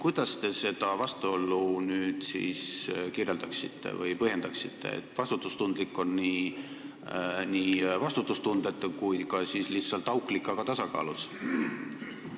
Kuidas te seda vastuolu kirjeldaksite või põhjendaksite, et vastutustundlik on nii vastutustundetu kui ka lihtsalt auklik, aga tasakaalus?